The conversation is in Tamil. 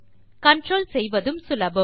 கன்ட்ரோல் செய்வதும் சுலபம்